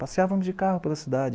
Passeávamos de carro pela cidade.